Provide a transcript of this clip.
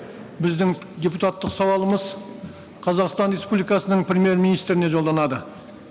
біздің депутаттық сауалымыз қазақстан республикасының премьер министріне жолданады